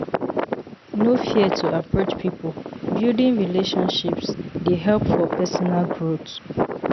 No fear to approach people; building relationships dey help for personal growth.